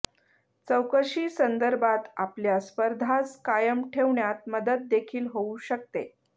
चौकशीसंदर्भात आपल्या स्पर्धास कायम ठेवण्यात मदत देखील होऊ शकते